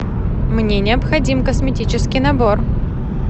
мне необходим косметический набор